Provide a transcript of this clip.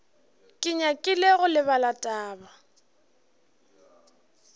ke nyakile go lebala taba